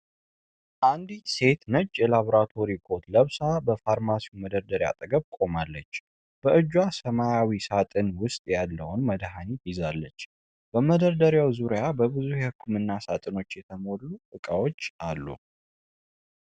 አንዲት ሴት ነጭ ላብራቶሪ ኮት ለብሳ በፋርማሲ መደርደሪያ አጠገብ ቆማለች፡፡ በእጇ ሰማያዊ ሳጥን ውስጥ ያለውን መድኃኒት ትይዛለች፡፡ በመደርደሪያው ዙሪያ በብዙ የህክምና ሳጥኖች የተሞሉ እቃዎች አሉ፡፡